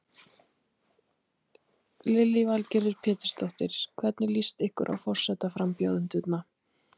Lillý Valgerður Pétursdóttir: Hvernig líst ykkur á forsetaframbjóðendurna?